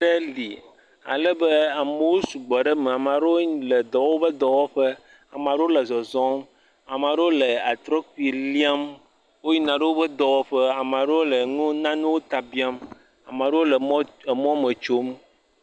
Nuɖe li ale be amewo sugbɔ ɖe eme. Ame aɖewo le dɔwɔ woƒe dɔwɔƒe, ame aɖewo le zɔzɔm, ame aɖewo le atrɔkpi liam, woyina ɖe woƒe dɔwɔƒe, ame aɖewo le nu nanewo ta biam, ame aɖewo le mɔ emɔ me tsom.